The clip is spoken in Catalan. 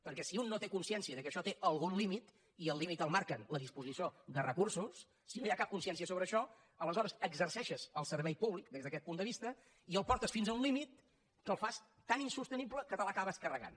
perquè si un no té consciència que això té algun límit i el límit el marca la disposició de recursos si no hi ha cap consciència sobre això aleshores exerceixes el servei públic des d’aquest punt de vista i el portes fins a un límit que el fas tan insostenible que te l’acabes carregant